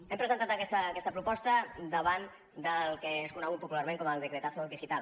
hem presentat aquesta proposta davant del que és conegut popularment com el decretazo digital